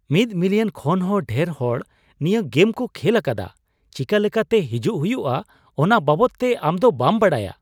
ᱢᱤᱫ ᱢᱤᱞᱤᱭᱚᱱ ᱠᱷᱚᱱ ᱦᱚᱸ ᱰᱷᱮᱨ ᱦᱚᱲ ᱱᱤᱭᱟᱹ ᱜᱮᱢ ᱠᱚ ᱠᱷᱮᱞ ᱟᱠᱟᱫᱟ ᱾ ᱪᱮᱠᱟ ᱞᱮᱠᱟᱛᱮ ᱦᱤᱡᱩᱜ ᱦᱩᱭᱩᱜᱼᱟ ᱚᱱᱟ ᱵᱟᱵᱚᱫᱛᱮ ᱟᱢ ᱫᱚ ᱵᱟᱢ ᱵᱟᱰᱟᱭᱟ ?